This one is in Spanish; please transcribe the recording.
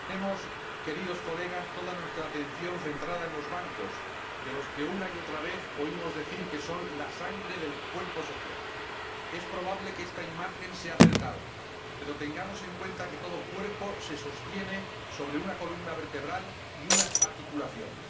Señor Presidente, Señorías, tenemos toda nuestra atención centrada en los bancos, de los que una y otra vez oímos decir que son la sangre del cuerpo social. Es probable que esta imagen sea acertada, pero tengamos en cuenta que todo cuerpo se sostiene sobre una columna vertebral y unas articulaciones.